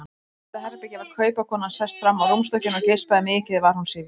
Í næsta herbergi var kaupakonan sest fram á rúmstokkinn og geispaði, mikið var hún syfjuð.